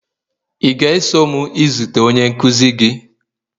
ị ga-eso m izute onye nkuzi gị?